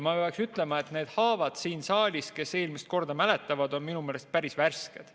Ma pean ütlema, et need haavad siin saalis – kes eelmist korda mäletavad, – on veel päris värsked.